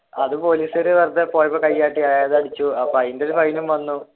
അത് പോലീസുകാർ വെറുതെ പോയപ്പോൾ കൈകാട്ടി അയാൾ അടിച്ചു അപ്പൊ അതിന്റെ ഒരു ഫൈനും വന്നു.